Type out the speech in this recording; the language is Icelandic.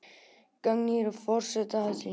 Gagnrýna forseta Alþingis